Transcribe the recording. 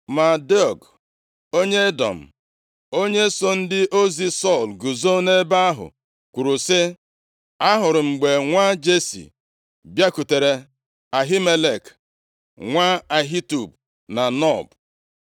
Ma Doeg onye Edọm, onye so ndị ozi Sọl guzo nʼebe ahụ kwuru sị, “Ahụrụ m mgbe nwa Jesi bịakwutere Ahimelek, nwa Ahitub na Nob.